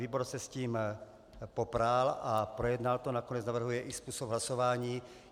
Výbor se s tím popral a projednal to, nakonec navrhuje i způsob hlasování.